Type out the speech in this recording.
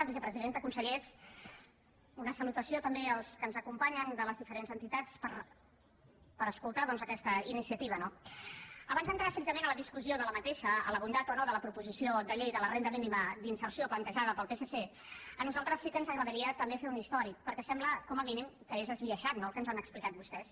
vicepresidenta consellers una salutació també als que ens acompanyen de les diferents entitats per escoltar doncs aquesta iniciativa no abans d’entrar estrictament a la discussió d’aquesta a la bondat o no de la proposició de llei de la renda mínima d’inserció plantejada pel psc a nosaltres sí que ens agradaria també fer un històric perquè sembla com a mínim que és esbiaixat el que ens han explicat vostès